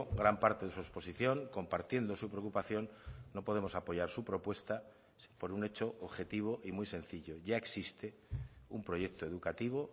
gran parte de su exposición compartiendo su preocupación no podemos apoyar su propuesta por un hecho objetivo y muy sencillo ya existe un proyecto educativo